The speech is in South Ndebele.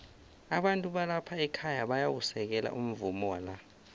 abantu balapha ekhaya bayawusekela umvumo wala